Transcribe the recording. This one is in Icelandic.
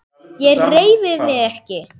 Ég hreyfi mig ekki.